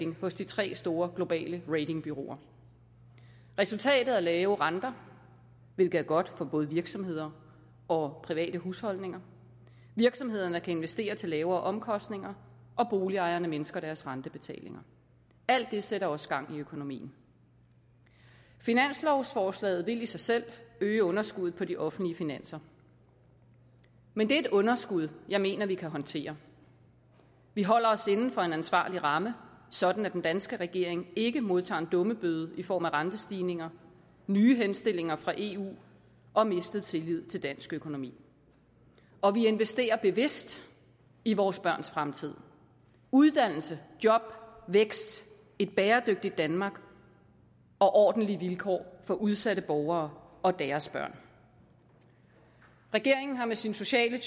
hos de tre store globale ratingbureauer resultatet er lave renter hvilket er godt for både virksomheder og private husholdninger virksomhederne kan investere til lavere omkostninger og boligejerne mindsker deres rentebetalinger alt det sætter også gang i økonomien finanslovsforslaget vil i sig selv øge underskuddet på de offentlige finanser men det er et underskud jeg mener vi kan håndtere vi holder os inden for en ansvarlig ramme sådan at den danske regering ikke modtager en dummebøde i form af rentestigninger nye henstillinger fra eu og mistet tillid til dansk økonomi og vi investerer bevidst i vores børns fremtid uddannelse job vækst et bæredygtigt danmark og ordentlige vilkår for udsatte borgere og deres børn regeringen har med sin sociale